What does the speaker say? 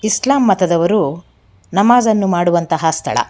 ಇಸ್ಲಾಂ ಮತದವರು ನಮಾಜ್ ಅನ್ನು ಮಾಡುವಂತಹ ಸ್ಥಳ.